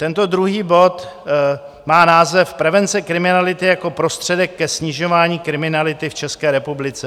Tento druhý bod má název Prevence kriminality jako prostředek ke snižování kriminality v České republice.